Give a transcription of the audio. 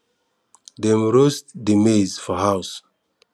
dem roast dey maize for house